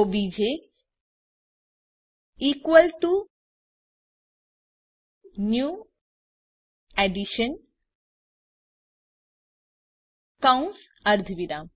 OBJ equal to new addition કૌંસ અર્ધવિરામ